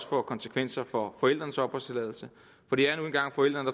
få konsekvenser for forældrenes opholdstilladelse for det er nu engang forældrene